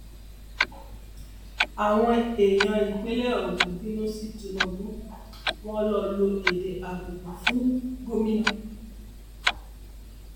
àwọn èèyàn ìpínlẹ ogun bínú sí tinubu wọn ló lo èdè àbùkù fún gómìnà